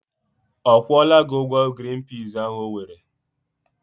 Ọ kwọla gi ọgwọ grin piz ahu owere?